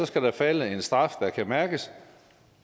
skal der falde en straf der kan mærkes